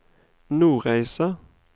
Nordreisa